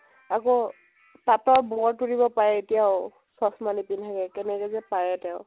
আকৌ, তাঁতত বোৱা তুলিব পাৰে এতিয়াও, চশমা নিপিন্ধাকে কেনেকে যে পাৰে তেওঁ।